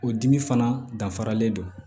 O dimi fana danfaralen don